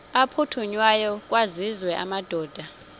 aphuthunywayo kwaziswe amadoda